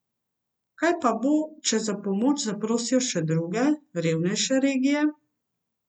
Kaj pa bo, če za pomoč zaprosijo še druge, revnejše regije?